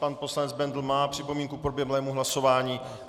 Pan poslanec Bendl má připomínku k proběhlému hlasování.